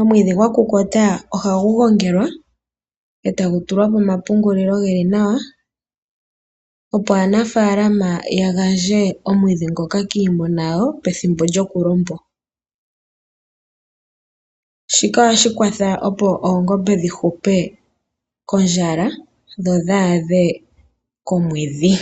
Omwiidhi gwakukuta ohagu gongelwa e tagu pungulwa opo aanafaalama ya gandje kiimuna yawo pethimbo lyokwenye. Shika ohashi kwatha opo oongombe dhi hupe kondjala dho dhi adhe komwedhi.